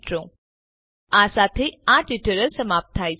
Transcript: જોડાવા બદ્દલ આભાર